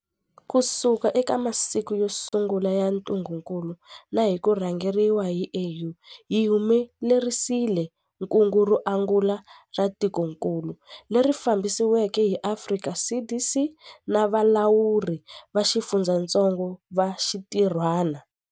Kusuka eka masiku yo sungula ya ntungukulu na hi ku rhangeriwa hi AU, hi humelerisile kungu ro angula ra tikokulu, leri fambisiweke hi Afrika CDC na valawuri va xifundzatsongo va xinti rhwana.